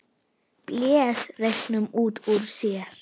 Blés reyknum út úr sér.